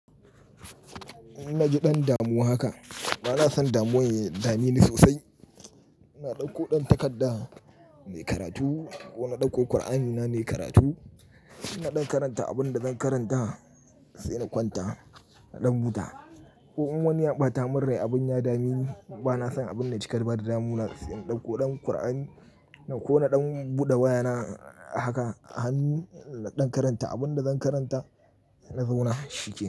Na ji ɗan damuwa haka. Bana son damuwan ya dame ni sosai. Na ɗauko ɗan takarda na yi karatu ko na ɗauko Kur'ani na ne karatu. Na ɗan karanta abin da zan karanta sai na kwanta na ɗan buta. Ko in wani ya ɓata min rai abun ya dami ni, bana son abin na cika da ba da damuwa sai in ɗauko ɗan Kur'ani ko na ɗan buɗe wayana haka, hannun na ɗan karanta abin da zan karanta sai na zauna shike.